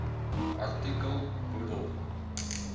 artikel bedoel